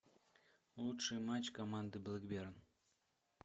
лучший матч команды блэкберн